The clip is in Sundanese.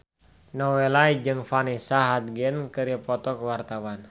Nowela jeung Vanessa Hudgens keur dipoto ku wartawan